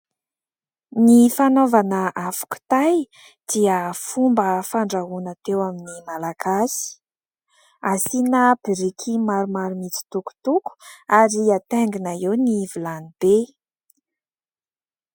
Ny fanaovana afo kitay dia fomba fandrahoana teo amin'ny Malagasy : asiana biriky maromaro mitsitokotoko ary hataingina eo ny vilany be.